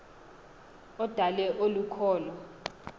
odale olu kholo